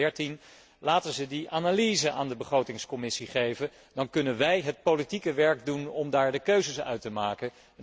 2013. Laten ze die analyse aan de Begrotingscommissie geven, dan kunnen wij het politieke werk doen om daar de keuzes uit te maken.